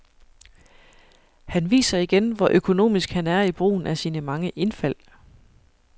Han viser igen, hvor økonomisk han er i brugen af sine mange indfald.